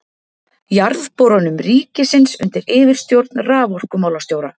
Jarðborunum ríkisins undir yfirstjórn raforkumálastjóra.